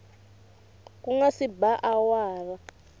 ku nga se ba awara